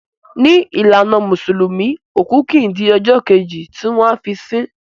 Ni ìlànà musulumi òkú kìí di ọjọ́ Kejì tí wọ́n a fi si